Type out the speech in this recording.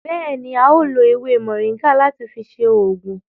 Béèni, a o lo ewé moringa láti fi ṣe oògùn